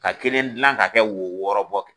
Ka kelen dilan ka kɛ wo wɔɔrɔ bɔ